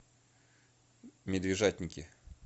медвежатники